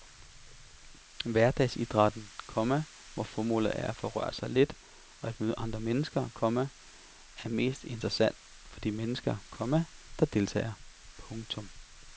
Hverdagsidrætten, komma hvor formålet er at få sig rørt lidt og at møde andre mennesker, komma er mest interessant for de mennesker, komma der deltager. punktum